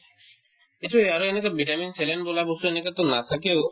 এইটোয়ে আৰু এনেকুৱা vitamin saline বোলা বস্তু এনেকেতো নাথাকেও